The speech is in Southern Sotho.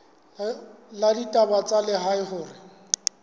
la ditaba tsa lehae hore